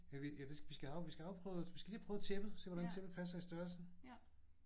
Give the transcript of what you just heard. Ja vi ja det skal vi have afprøvet vi skal lige have prøvet tæppet. Se hvordan tæppet passer i størrelsen